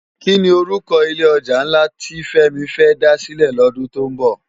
Kini òrúkò ilé òjá nlá ti Femi fè dá silè lòdún tó nbò?